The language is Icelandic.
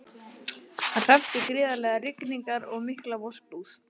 Hann hreppti gríðarlegar rigningar og mikla vosbúð.